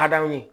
Hadama ye